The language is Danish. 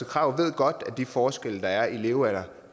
krag ved godt at de forskelle der er i levealder